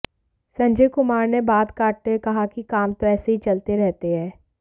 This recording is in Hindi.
संजय कुमार ने बात काटते हुए कहा कि काम तो ऐसे ही चलते रहते हैं